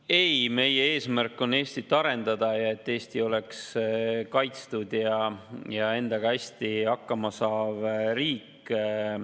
Ei, meie eesmärk on Eestit arendada ja et Eesti oleks kaitstud ja endaga hästi hakkama saav riik.